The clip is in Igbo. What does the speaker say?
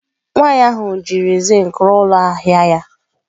Nwaanyị ahụ jiri zinc rụọ ụlọ ahịa ya.